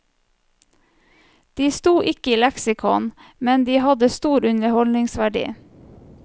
De sto ikke i leksikon, men de hadde stor underholdningsverdi.